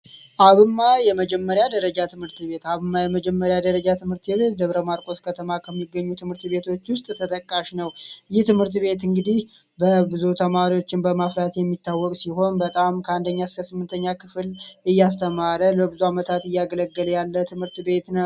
አብማ የመጀመሪያ ደረጃ ትምህርት ቤት! አብማ የመጀመሪያ ደረጃ ትምህርት ቤት ደብረ ማርቆስ ከሚገኙ ትምህርት ቤቶች ውስጥ ተጠቃሽ ነው። ይህ ትምህርት ቤት እንግዲህ ብዙ ተማሪዎችን በማፍራት የሚታወቅ ሲሆን በጣም ከአንደኛ እስከ ስምንተኛ ክፍል እያስተማረ ለብዙ አመታት እያገለገለ ያለ ትምህርት ቤት ነውደ